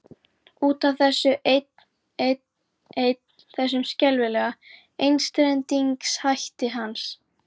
Út af þessu einn, einn, einn, þessum skelfilega einstrengingshætti hans.